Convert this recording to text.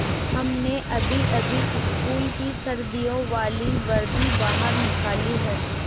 हमने अभीअभी स्कूल की सर्दियों वाली वर्दी बाहर निकाली है